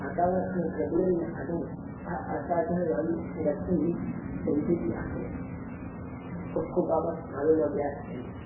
વાતાવરણ અને પ્રજ્ઞાન ના આધારે આ અસાધારણ વર્તન ને સમઝુતી આપે છે ખુબ ખુબ આભાર મારું નામ વ્યાસ કેલી છે